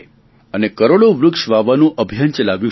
અને કરોડો વૃક્ષ વાવવાનું અભિયાન ચલાવ્યું છે